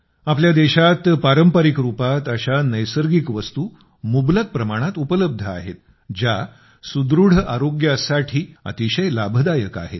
आपल्या देशात पारंपरिक रुपात अशा नैसर्गिक वस्तू मुबलक प्रमाणात उपलब्ध आहेत ज्या सुदृढ आरोग्यासाठी अतिशय लाभदायक आहेत